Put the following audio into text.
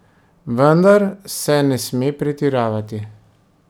Vendar se ne sme pretiravati.